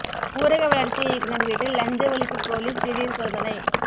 ஊரக வளர்ச்சி இயக்குனர் வீட்டில் லஞ்ச ஒழிப்பு போலீஸ் திடீர் சோதனை